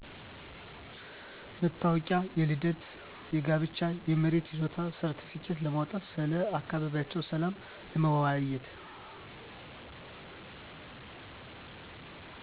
መታወቂያ፤ የልደት፤ የጋብቻ፤ የመሬት ይዞታ ሰርትፍኬት ለማውጣት፤ ስለ አካባቢያቸው ሰላም ለመወያየት።